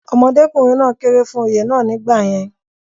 ọmọdékùnrin náà kéré fún Oyè náà nígbà yẹn